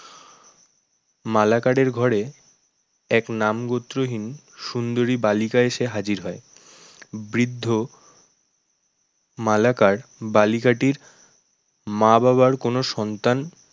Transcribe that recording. মালাকারের ঘরে এক নাম গোত্রহীন সুন্দরী বালিকা এসে হাজির হয় বৃদ্ধ মালাকার বালিকাটির মা-বাবার কোনো সন্তান